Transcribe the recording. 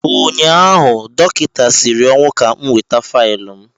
ụnyaahụ, dọkịta siri ọnwụ ka m weta faịlụ m.